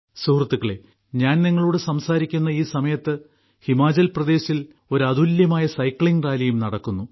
സുഹൃത്തുക്കളേ ഞാൻ നിങ്ങളോട് സംസാരിക്കുന്ന ഈ സമയത്ത് ഹിമാചൽപ്രദേശിൽ ഒരു അതുല്യമായ സൈക്ലിംഗ് റാലിയും നടക്കുന്നു